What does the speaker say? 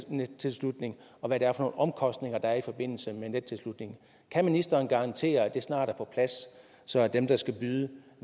nettilslutning og hvad det er for nogle omkostninger der er i forbindelse med nettilslutningen kan ministeren garantere at det snart er på plads så dem der skal byde